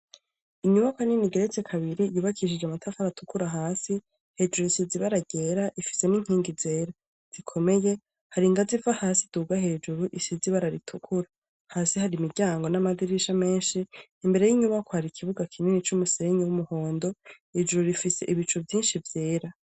Inyubakwa nini igeretse kabiri yubakishije amatafari atukura hasi. Hejuru isize ibara ryera, ifise n'inkingi zera zikomeye. Hari ingazi iva hasi iduga hejuru, isize ibara ritukura. Hasi hari imiryango n'amadirisha menshi. Imbere y'inyubakwa hari ikibuga kinini c'umusenyi w'umuhondo. Hejuru rifise ibicu vyinshi vyera.